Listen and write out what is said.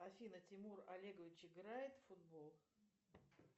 афина тимур олегович играет в футбол